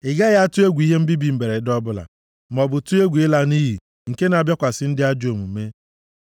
Ị gaghị atụ egwu ihe mbibi mberede ọbụla maọbụ tụọ egwu ịla nʼiyi nke na-abịakwasị ndị ajọ omume.